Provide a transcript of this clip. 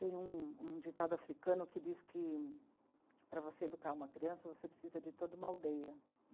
Tem um, um ditado africano que diz que para você educar uma criança, você precisa de toda uma aldeia.